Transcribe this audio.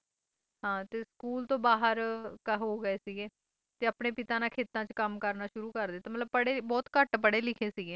ਹਾਂ ਸਕੂਲ ਤੋਂ ਬਾਹਰ ਹੋ ਗਏ ਸੀਗੇ ਤੇ ਆਪਣੇ ਪਿਤਾ ਨਾਲ ਖੇਤਾਂ ਚ ਕੰਮ ਕਰਨਾ ਸ਼ੁਰੂ ਕਰ ਦਿੱਤਾ ਮਤਲਬ ਪੜ੍ਹੇ ਬਹੁਤ ਘੱਟ ਪੜ੍ਹੇ ਲਿਖੇ ਸੀਗੇ